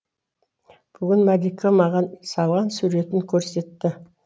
бүгін малика маған салған суретін көрсетті